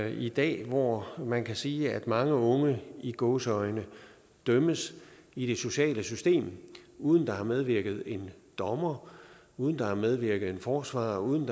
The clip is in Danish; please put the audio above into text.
i dag hvor man kan sige at mange unge i gåseøjne dømmes i det sociale system uden at der har medvirket en dommer uden at der har medvirket en forsvarer og uden